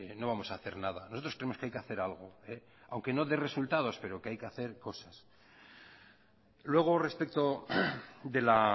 no vamos a hacer nada nosotros creemos que hay que hacer algo aunque no dé resultados pero que hay que hacer cosas luego respecto de la